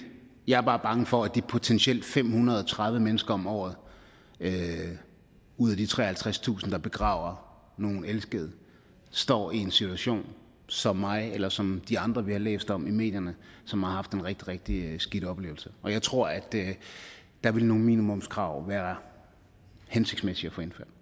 jeg er bare bange for at de potentielt fem hundrede og tredive mennesker om året ud af de treoghalvtredstusind der begraver nogle elskede står i en situation som mig eller som de andre vi har læst om i medierne som har haft en rigtig rigtig skidt oplevelse jeg tror at der ville nogle minimumskrav være hensigtsmæssige